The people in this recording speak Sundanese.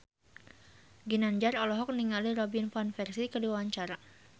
Ginanjar olohok ningali Robin Van Persie keur diwawancara